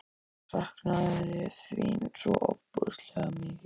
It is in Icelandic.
Ég saknaði þín svo ofboðslega mikið.